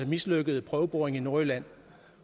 mislykkede prøveboring i nordjylland